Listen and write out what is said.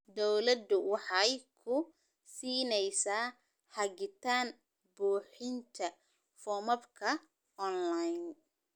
Dawladdu waxay ku siinaysaa hagitaan buuxinta foomamka onlayn.